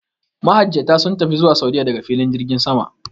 Majajjata sun tafi zuwa Sa'udiyya daga filin jirgin sama.